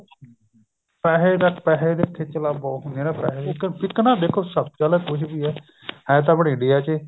ਪੈਸੇ ਦੀ ਪਾਸੇ ਦੀ ਖੇਚਲਾ ਬਹੁਤ ਹੁੰਦੀ ਹੈ ਨਾ ਪੈਸੇ ਇੱਕ ਨਾ ਦੇਖੋ ਸਭ ਚਲੋ ਕੁੱਝ ਵੀ ਹੈ ਹੈ ਤਾਂ ਆਪਣੀ India ਚ ਏ